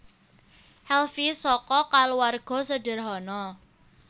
Helvy saka kulawarga sederhana